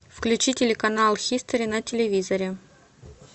включи телеканал хистори на телевизоре